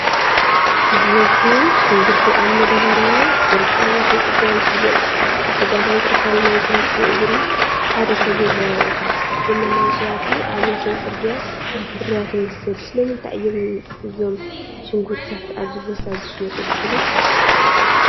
ብብዝሒ ሽንጉርቲ ኣብ መዳበርያ ተዘርጊሑ ኣብ ወሰን ጽርግያ ይሽየጥ። ኣብ ጸጋማይ ክፋል ናይቲ ምስሊ እግሪ ሓደ ሰብ ይረአ፣ እቲ ኣቑሑት ድማ ናይ ሸያጢ ኣብ ወሰን ጽርግያ ፍርያት ይመስል። ስለምንታይ እዮም እዞም ሽንጉርቲታት ኣብዚ ቦታ ዝሽየጡ ትብሉ?